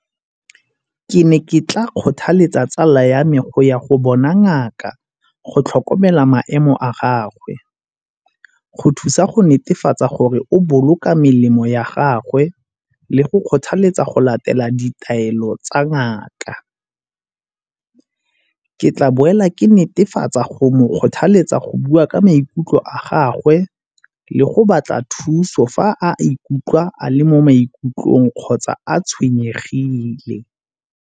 Ke ne ke tla kgothaletsa tsala ya me go ya go bona ngaka go tlhokomela maemo a gagwe. Go thusa go netefatsa gore o boloka melemo ya gagwe le go kgothaletsa go latela ditaelo tsa ngaka. Ke tla boela ke netefatsa go mo kgothaletsa go bua ka maikutlo a gagwe le go batla thuso fa a ikutlwa a le mo maikutlong kgotsa a tshwenyegile.